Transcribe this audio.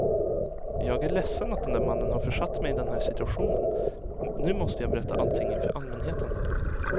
Jag är ledsen att den där mannen har försatt mig i den här situationen, nu måste jag berätta allting inför allmänheten.